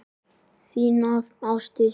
Þín nafna, Ásdís.